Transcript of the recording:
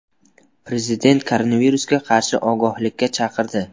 Prezident koronavirusga qarshi ogohlikka chaqirdi.